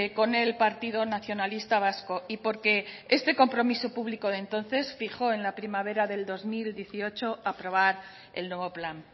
con el partido nacionalista vasco y porque este compromiso público de entonces fijó en la primavera del dos mil dieciocho aprobar el nuevo plan